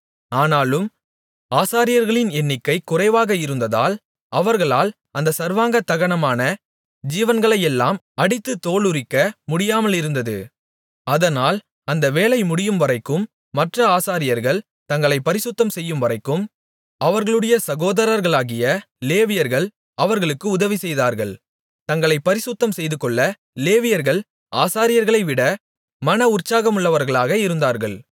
ஆனாலும் ஆசாரியர்களின் எண்ணிக்கை குறைவாக இருந்ததால் அவர்களால் அந்த சர்வாங்க தகனமான ஜீவன்களையெல்லாம் அடித்துத் தோலுரிக்க முடியாமலிருந்தது அதனால் அந்த வேலை முடியும்வரைக்கும் மற்ற ஆசாரியர்கள் தங்களைப் பரிசுத்தம்செய்யும்வரைக்கும் அவர்களுடைய சகோதரர்களாகிய லேவியர்கள் அவர்களுக்கு உதவிசெய்தார்கள் தங்களைப் பரிசுத்தம் செய்துகொள்ள லேவியர்கள் ஆசாரியர்களைவிட மன உற்சாகமுள்ளவர்களாக இருந்தார்கள்